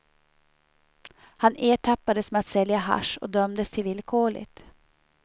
Han ertappades med att sälja hasch och dömdes till villkorligt.